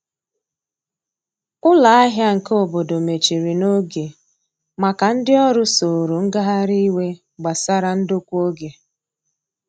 Ụlọ ahia nke obodo mechiri n'oge maka ndi ọrụ soro ngahari iwe gbasara ndokwa oge.